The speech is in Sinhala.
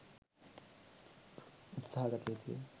උත්සාහ ගත යුතු ය.